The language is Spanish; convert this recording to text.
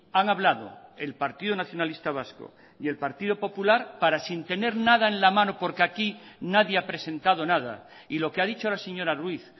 han hablado el partido nacionalista vasco y el partido popular para sin tener nada en la mano porque aquí nadie ha presentado nada y lo que ha dicho la señora ruiz